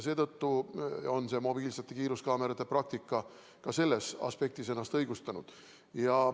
Seetõttu on mobiilsete kiiruskaamerate praktika ka selles aspektis ennast õigustanud.